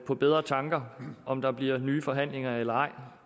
på bedre tanker om der bliver nye forhandlinger eller ej